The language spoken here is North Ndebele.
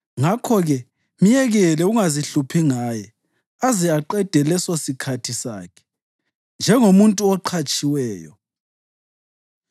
Ngakho-ke myekele ungazihluphi ngaye, aze aqede lesosikhathi sakhe njengomuntu oqhatshiweyo.